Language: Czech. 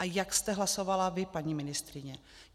A jak jste hlasovala vy, paní ministryně?